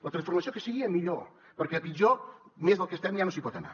la transformació que sigui a millor perquè a pitjor més del que estem ja no s’hi pot anar